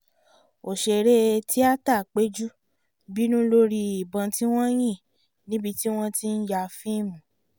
òṣèré tíáta péjú bínú lórí ìbọn tí wọ́n yìn níbi tí wọ́n ti ń ya fíìmù